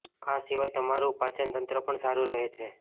આ સિવાય તમારુ પાચનતંત્ર પણ સારું રહે છે